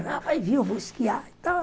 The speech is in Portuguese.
Ela vai vir, eu vou esquiar e tal.